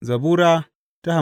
Zabura Sura